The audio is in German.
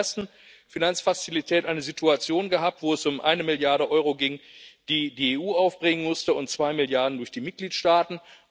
Wir haben in der ersten Finanzfazilität eine Situation gehabt, wo es um eine Milliarde Euro ging, die die EU aufbringen musste, und zwei Milliarden durch die Mitgliedstaaten.